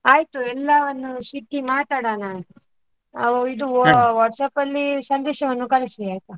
ಆಯ್ತು ಎಲ್ಲವನ್ನೂ ಸಿಕ್ಕಿ ಮಾತಾಡೋಣ. ಆಹ್ ಇದು ಆಹ್ WhatsApp ಅಲ್ಲಿ ಸಂದೇಶವನ್ನು ಕಳಿಸಿ ಆಯ್ತಾ?